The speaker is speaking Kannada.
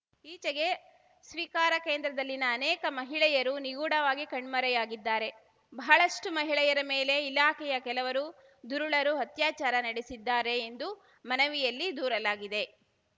ಈಚೆಗೆ ಸ್ವೀಕಾರ ಕೇಂದ್ರದಲ್ಲಿನ ಅನೇಕ ಮಹಿಳೆಯರು ನಿಗೂಢವಾಗಿ ಕಣ್ಮರೆಯಾಗಿದ್ದಾರೆ ಬಹಳಷ್ಟುಮಹಿಳೆಯರ ಮೇಲೆ ಇಲಾಖೆಯ ಕೆಲವರು ದುರುಳರು ಅತ್ಯಾಚಾರ ನಡೆಸಿದ್ದಾರೆ ಎಂದು ಮನವಿಯಲ್ಲಿ ದೂರಲಾಗಿದೆ